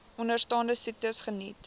onderstaande siektes geniet